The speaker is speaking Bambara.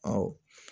Awɔ